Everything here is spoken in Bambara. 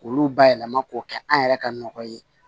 K'olu bayɛlɛma k'o kɛ an yɛrɛ ka nɔgɔ ye